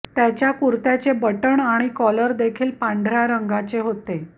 त्याच्या कुर्त्याचे बटण आणि कॉलर देखील पांढऱ्या रंगाचे होते